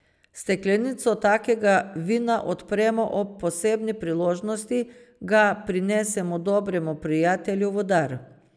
Steklenico takega vina odpremo ob posebni priložnosti, ga prinesemo dobremu prijatelju v dar ...